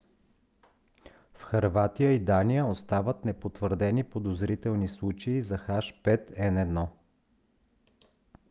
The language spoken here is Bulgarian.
в хърватия и дания остават непотвърдени подозрителните случаи на h5n1